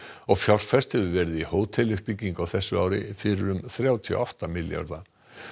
og fjárfest hefur verið í hóteluppbyggingu á þessu ári fyrir um þrjátíu og átta milljarða